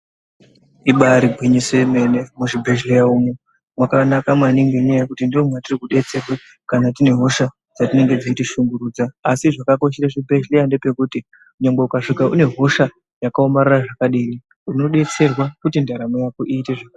Ibaari gwinyiso yemene muzvibhedhleya umo mwakanaka maningi ngenyaya yekuti ndimo matirikubetserwe kana tine hosha dzitinenge dzichiti shungurudza asi zvakakoshere zvibhedhleya ngepekuti nyangwe ukasvika une hosha yakaomarara zvakadini unobetserwa kuti ndaramo yako iite zvakanaka.